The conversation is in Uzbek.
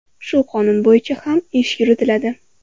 Shu qonun bo‘yicha ham ish yuritiladi.